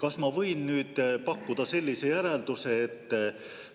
Kas ma võin pakkuda sellise järelduse, et